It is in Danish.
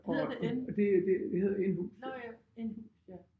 Hedder det en? Nåh ja en hus ja